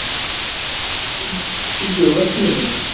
Kíkið á vefsíðuna hennar